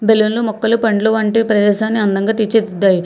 బేలున్లు మొక్కలు పండ్లు వంటి ప్రదేశాన్ని అందంగా తీర్చి దిద్దాయి.